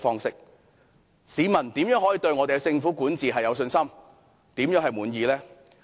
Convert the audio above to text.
試問市民如何對政府管治有信心，如何會感到滿意呢？